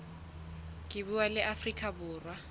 ka puo la afrika borwa